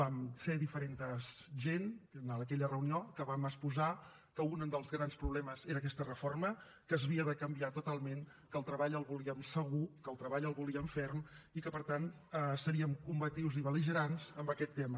vam ser diferent gent en aquella reunió que vam exposar que un dels grans problemes era aquesta reforma que s’havia de canviar totalment que el treball el volíem segur que el treball el volíem ferm i que per tant seriem combatius i bel·ligerants amb aquest tema